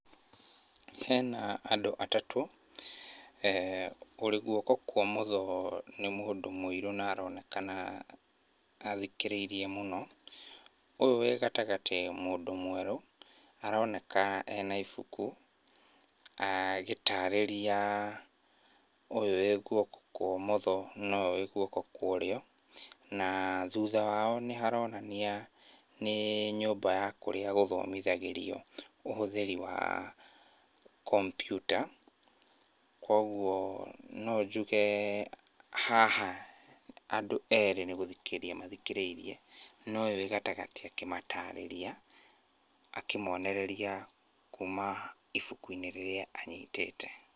Hena andũ atatũ. Ũrĩ guoko kwa ũmotho nĩ mũndũ mũirũ na aronekana athikĩrĩirie mũno. Ũyũ wĩ gatagatĩ mũndũ mwerũ aroneka ena ibuku, agĩtarĩria ũyũ wĩ guoko kwa ũmotho na ũyũ wĩ guoko kwa ũrĩo. Na thutha wao nĩharonania nĩ nyũmba ya kũrĩa gũthomithagĩrio ũhũthĩri wa kombiuta. Kuoguo no njuge haha andũ erĩ nĩgũthikĩrĩria mathikĩrĩirie, na ũyũ wĩ gatagatĩ akĩmatarĩria akĩmonereria kuma ibuku-inĩ rĩrĩa anyitĩte.